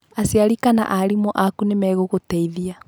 Aciari kana aarimũ aku nĩ megũgũteithia.